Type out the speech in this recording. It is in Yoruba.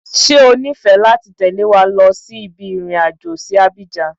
Ṣé o nifẹ láti tẹ́lẹ̀ wa lọ sí ibi irin àjò sí Abidjan?